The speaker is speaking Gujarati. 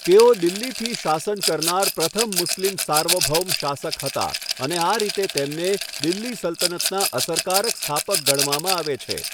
તેઓ દિલ્હીથી શાસન કરનાર પ્રથમ મુસ્લિમ સાર્વભૌમ શાસક હતા અને આ રીતે તેમને દિલ્હી સલ્તનતના અસરકારક સ્થાપક ગણવામાં આવે છે.